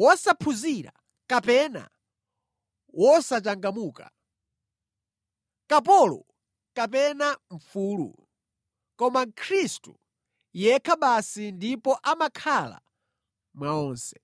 wosaphunzira kapena wosachangamuka, kapolo kapena mfulu, koma Khristu yekha basi ndipo amakhala mwa onse.